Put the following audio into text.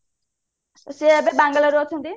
ସେ ଏବେ Bangalore ରେ ଅଛନ୍ତି